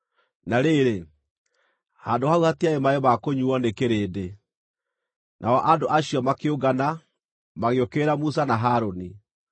Na rĩrĩ, handũ hau hatiarĩ maaĩ ma kũnyuuo nĩ kĩrĩndĩ, nao andũ acio makĩũngana, magĩũkĩrĩra Musa na Harũni.